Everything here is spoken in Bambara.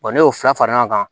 n'i y'o fara fara ɲɔgɔn kan